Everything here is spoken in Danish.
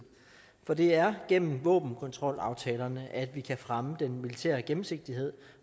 for det er gennem våbenkontrolaftalerne at vi kan fremme den militære gennemsigtighed